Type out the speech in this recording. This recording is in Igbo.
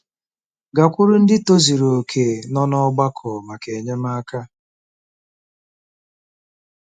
Gakwuru ndị tozuru okè nọ n'ọgbakọ maka enyemaka.